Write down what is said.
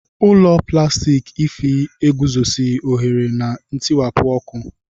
Ụlọ plastiki Ify eguzoghị ohere na ntiwapụ ọkụ